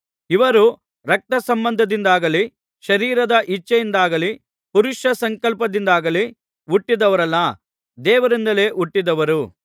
ಇವರು ರಕ್ತಸಂಬಂಧದಿಂದಾಗಲಿ ಶರೀರದ ಇಚ್ಛೆಯಿಂದಾಗಲಿ ಪುರುಷ ಸಂಕಲ್ಪದಿಂದಾಗಲಿ ಹುಟ್ಟಿದವರಲ್ಲ ದೇವರಿಂದಲೇ ಹುಟ್ಟಿದವರು